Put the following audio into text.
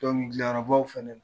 Dɔnkili dilalabaw fana